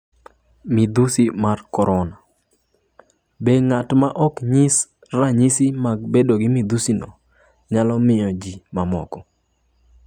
Midhusi mar Corona: Be ng'at ma ok nyiso ranyisi mag bedo gi midhusi no nyalo mako ji mamoko?